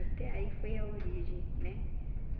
Até aí foi a origem, né?